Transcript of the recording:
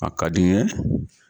A ka di n ye.